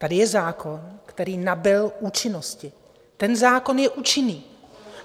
Tady je zákon, který nabyl účinnosti, ten zákon je účinný.